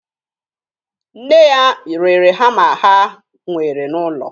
Nne ya rere hama ha nwere n'ụlọ